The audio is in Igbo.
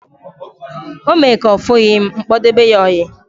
O mee ka ofughi m, m kpodebe ya oyi